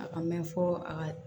A ka mɛn fɔ a ka